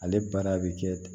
Ale baara bɛ kɛ ten